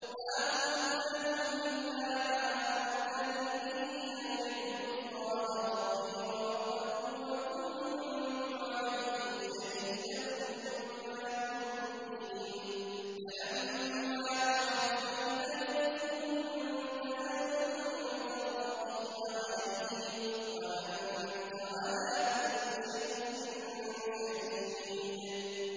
مَا قُلْتُ لَهُمْ إِلَّا مَا أَمَرْتَنِي بِهِ أَنِ اعْبُدُوا اللَّهَ رَبِّي وَرَبَّكُمْ ۚ وَكُنتُ عَلَيْهِمْ شَهِيدًا مَّا دُمْتُ فِيهِمْ ۖ فَلَمَّا تَوَفَّيْتَنِي كُنتَ أَنتَ الرَّقِيبَ عَلَيْهِمْ ۚ وَأَنتَ عَلَىٰ كُلِّ شَيْءٍ شَهِيدٌ